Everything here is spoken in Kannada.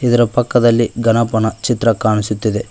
ಇದರ ಪಕ್ಕದಲ್ಲಿ ಗಣಪನ ಚಿತ್ರ ಕಾಣಿಸುತ್ತಿದೆ.